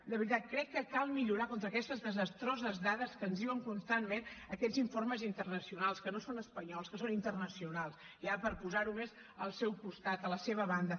de veritat crec que cal millorar contra aquestes desastroses dades que ens diuen constantment aquests informes internacionals que no són espanyols que són internacionals ja per posar ho més al seu costat a la seva banda